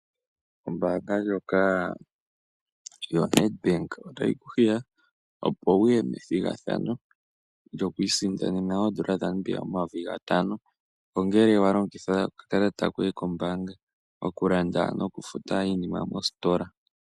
Ombaanga ndjoka yoNedbank otayi ku hiya opo wuye methigathano lyoku isindanena oodola dhaNamibia omayovi gatano ngele walongitha okakalata koye kombaanga okulanda noku futa iinima mositola.